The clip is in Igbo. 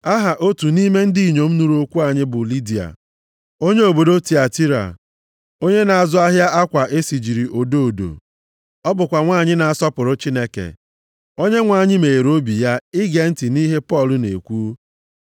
Aha otu nʼime ndị inyom nụrụ okwu anyị bụ Lidia, onye obodo Tiatira, onye na-azụ ahịa akwa e sijiri odo odo. Ọ bụkwa nwanyị na-asọpụrụ Chineke. Onyenwe anyị meghere obi ya, ige ntị nʼihe Pọl na-ekwu.